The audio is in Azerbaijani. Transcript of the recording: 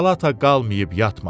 Palata qalıb yatmasın.